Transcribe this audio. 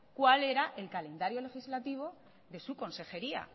cuál era el calendario legislativo de su consejería